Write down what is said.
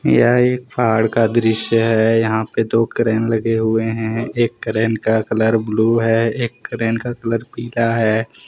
यह एक पहाड़ का दृश्य है। यहा पे दो क्रेन लगे हुए है। एक क्रेन का कलर ब्लू है एक का कलर पिला है।